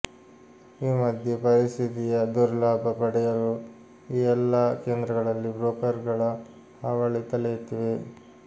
ಈ ಮಧ್ಯೆ ಪರಿಸ್ಥಿತಿಯ ದುರ್ಲಾಭ ಪಡೆಯಲು ಈ ಎಲ್ಲ ಕೇಂದ್ರಗಳಲ್ಲಿ ಬ್ರೋಕರ್ಗಳ ಹಾವಳಿ ತಲೆಯೆತ್ತಿದೆ